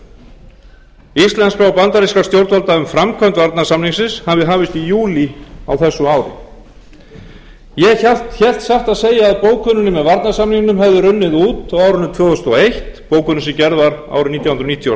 og bandarískra stjórnvalda um framkvæmd varnarsamningsins hafi hafist í júlí á þessu ári ég hélt satt að segja að bókunin með varnarsamningnum hefði runnið út á árinu tvö þúsund og eitt bókunin sem gerð var árið nítján hundruð níutíu og